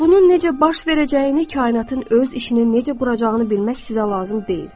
Bunun necə baş verəcəyini, kainatın öz işini necə quracağını bilmək sizə lazım deyil.